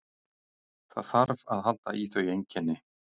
Það þarf að halda í þau einkenni.